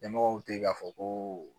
Ɲɛmɔgɔw te yen k'a fɔ ko